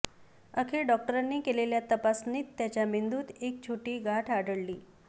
अखेर डॉक्टरांनी केलेल्या तपासणीत त्याच्या मेंदूत एक छोटी गाठ आढळली